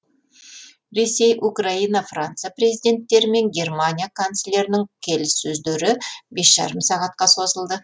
ресей украина франция президенттері мен германия канцлерінің келіссөздері бес жарым сағатқа созылды